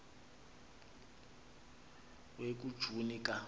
we kujuni ka